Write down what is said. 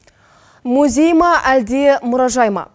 музей ма әлде мұражай ма